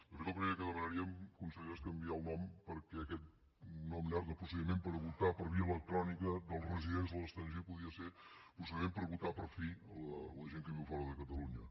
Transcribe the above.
de fet el primer que demanaríem consellera és canviar el nom perquè aquest nom llarg de procediment per votar per via electrònica dels residents a l’estranger podria ser procediment per votar per fi la gent que viu fora de catalunya